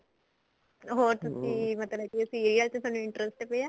ਹੋਰ ਤੁਸੀਂ ਮਤਲਬ ਕੀ serial ਚ ਤੁਹਾਨੂੰ interest ਪਿਆ